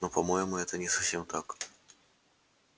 но по-моему это не совсем так